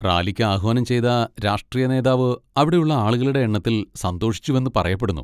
റാലിക്ക് ആഹ്വാനം ചെയ്ത രാഷ്ട്രീയ നേതാവ് അവിടെയുള്ള ആളുകളുടെ എണ്ണത്തിൽ സന്തോഷിച്ചുവെന്ന് പറയപ്പെടുന്നു.